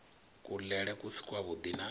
kuḽele ku si kwavhuḓi na